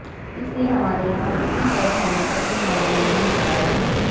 इसलिए हमारे यहां बुकिंग रद्द होने का कोई मामला नहीं आया है